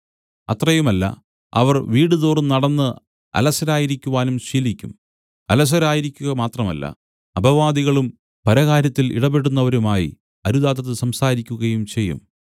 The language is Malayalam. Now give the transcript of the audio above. അത്രയുമല്ല അവർ വീടുതോറും നടന്ന് അലസരായിരിക്കുവാനും ശീലിക്കും അലസരായിരിക്കുക മാത്രമല്ല അപവാദികളും പരകാര്യത്തിൽ ഇടപെടുന്നവരുമായി അരുതാത്തത് സംസാരിക്കുകയും ചെയ്യും